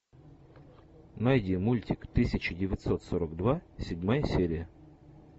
найди мультик тысяча девятьсот сорок два седьмая серия